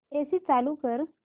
AC चालू कर